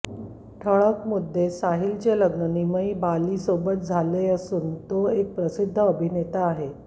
ठळक मुद्देसाहिलाचे लग्न निमई बाली सोबत झाली असून तो एक प्रसिद्ध अभिनेता आहे